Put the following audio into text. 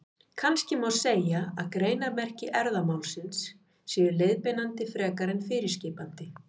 Kannski má segja að greinarmerki erfðamálsins séu leiðbeinandi frekar en fyrirskipandi.